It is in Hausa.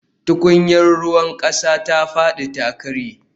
Tukunyar ruwan kasa ta fadi ta karye